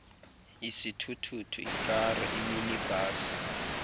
isithuthuthu ikari iminibhasi